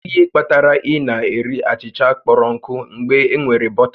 Kedu ihe kpatara ị na-eri achịcha kpọrọ nkụ mgbe enwere bọta?